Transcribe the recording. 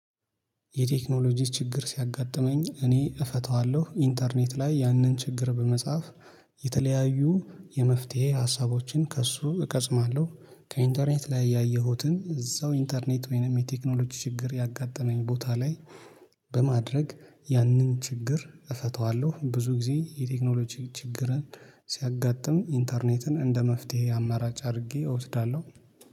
የቴክኖሎጂ ችግር ሲያጋጥመኝ እኔ እፈታዋለሁ ኢንተርኔት ላይ ያንን ችግር በመጻፍ የመፍትሄ ሀሳቦችን ከእሱ እቀስማለሁ ከኢንተርኔት ላይ ያየሁትን እዛው ኢንተርኔት ወይንም የቴክኖሎጂ ችግር ያጋጠመኝ ቦታ ላይ በማድረግ ያንን ችግር እፈታዋለሁ። ብዙ ጊዜ የቴክኖሎጂ ችግርን ሲያጋጥም ኢንተርኔትን እንደ መፍትሄ አማራጭ አድርጌ እወስዳለሁ